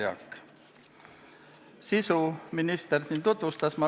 Eelnõu sisu minister juba tutvustas.